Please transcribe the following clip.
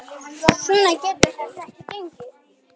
Svona getur þetta ekki gengið.